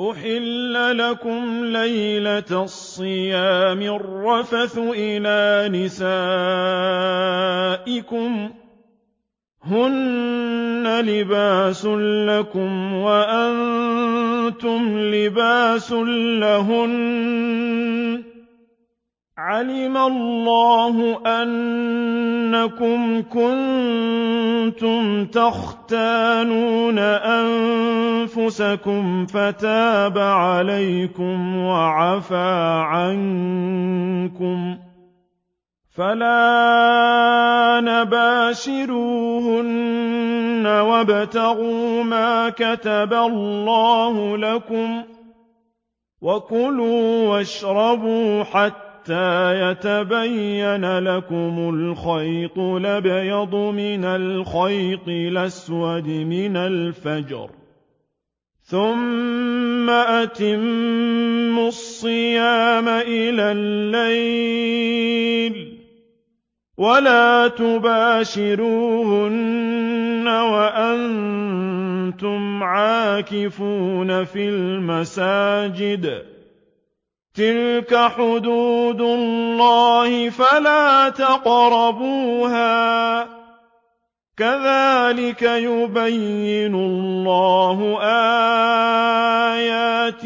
أُحِلَّ لَكُمْ لَيْلَةَ الصِّيَامِ الرَّفَثُ إِلَىٰ نِسَائِكُمْ ۚ هُنَّ لِبَاسٌ لَّكُمْ وَأَنتُمْ لِبَاسٌ لَّهُنَّ ۗ عَلِمَ اللَّهُ أَنَّكُمْ كُنتُمْ تَخْتَانُونَ أَنفُسَكُمْ فَتَابَ عَلَيْكُمْ وَعَفَا عَنكُمْ ۖ فَالْآنَ بَاشِرُوهُنَّ وَابْتَغُوا مَا كَتَبَ اللَّهُ لَكُمْ ۚ وَكُلُوا وَاشْرَبُوا حَتَّىٰ يَتَبَيَّنَ لَكُمُ الْخَيْطُ الْأَبْيَضُ مِنَ الْخَيْطِ الْأَسْوَدِ مِنَ الْفَجْرِ ۖ ثُمَّ أَتِمُّوا الصِّيَامَ إِلَى اللَّيْلِ ۚ وَلَا تُبَاشِرُوهُنَّ وَأَنتُمْ عَاكِفُونَ فِي الْمَسَاجِدِ ۗ تِلْكَ حُدُودُ اللَّهِ فَلَا تَقْرَبُوهَا ۗ كَذَٰلِكَ يُبَيِّنُ اللَّهُ آيَاتِهِ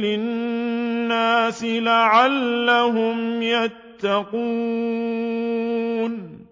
لِلنَّاسِ لَعَلَّهُمْ يَتَّقُونَ